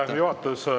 Aitäh!